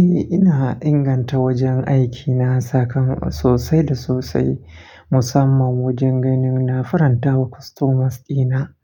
Eh, ina inganta wajen aikina, saka sosai da sosai musamman wajen ganin na furanta wa customers dina.